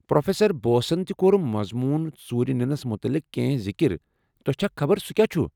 Professor بوسن تہِ كور مضمون ژوٗرِ نِنس مُتعلق کینٛہہ ذکر، تۄہہ چھا خبر سُہ کیاہ چُھ؟